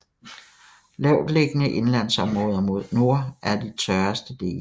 Lavtliggende indlandsområder mod nord er de tørreste dele